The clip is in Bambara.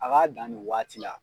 A ka dan ni waati la.